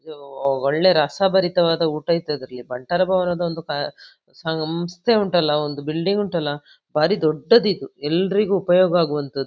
ಇದು ಒಳ್ಳೆ ರಸಭರಿತವಾದ ಊಟ ಇತ್ತು ಅದರಲ್ಲಿ ಬಂಟರ ಭವನದ ಒಂದು ಕಾ ಸಂಸ್ಥೆ ಉಂಟಲ್ಲ ಒಂದು ಬಿಲ್ಡಿಂಗ್ ಉಂಟಲ್ಲ ಭಾರಿ ದೊಡ್ಡದಿದು ಎಲ್ಲರಿಗು ಉಪಯೋಗವಾಗುವಂಥದ್ದು.